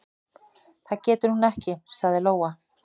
"""Það getur hún ekki, sagði Lóa."""